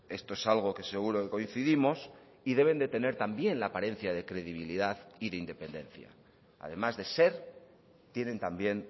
esto es algo que seguro que coincidimos y deben de tener también la apariencia de credibilidad y de independencia además de ser tienen también